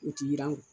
U ti yiran